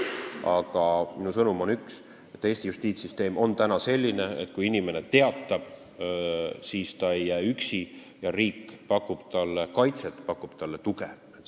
Aga minu sõnum on üks: Eesti justiitssüsteem on täna selline, et kui inimene teatab kuriteost, siis ta ei jää üksi, riik pakub talle kaitset, pakub talle tuge.